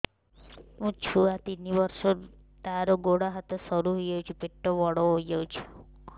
ମୋ ଛୁଆ ତିନି ବର୍ଷ ତାର ଗୋଡ ହାତ ସରୁ ହୋଇଯାଉଛି ପେଟ ବଡ ହୋଇ ଯାଉଛି